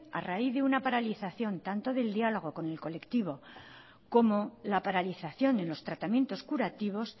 a la raíz de una paralización tanto del diálogo con el colectivo como la paralización en los tratamiento curativos